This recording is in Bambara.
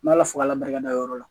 N' ala fo ka la barika da o yɔrɔ la